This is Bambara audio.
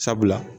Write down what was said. Sabula